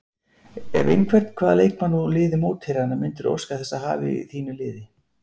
Ef einhvern, hvaða leikmann úr liði mótherjanna myndirðu óska þess að hafa í þínu liði?